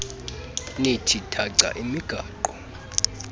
nithi thaca imigaqo